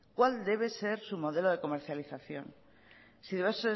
cuál debe ser su modelo de comercialización si debe